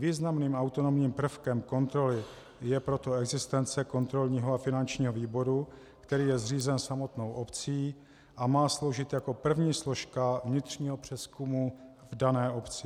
Významným autonomním prvkem kontroly je proto existence kontrolního a finančního výboru, který je zřízen samotnou obcí a má sloužit jako první složka vnitřního přezkumu v dané obci.